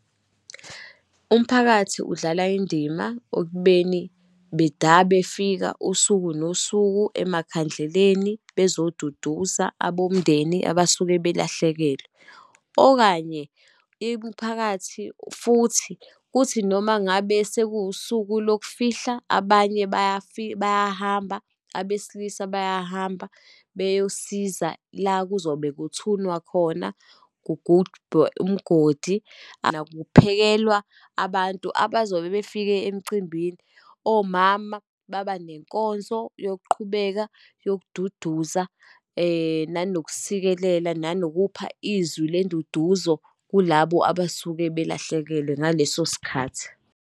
Umphakathi udlala indima ekubeni beda befika usuku nosuku, emakhandleleni bezoduduza abomndeni abasuke belahlekelwe. Okanye, imiphakathi, futhi kuthi noma ngabe sekuwusuku lokufihla, abanye bayahamba, abesilisa bayahamba beyosiza la kuzobe kuthunwa khona, kugubhwe umgodi. kuphekelwa abantu abazobe befike emcimbini. Omama babanenkonzo yokuqhubeka yokududuza, nanokusikelela, nanokupha izwi lenduduzo kulabo abasuke belahlekelwe ngaleso sikhathi.